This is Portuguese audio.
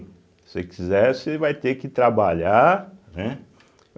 Se você quiser, você vai ter que trabalhar, né.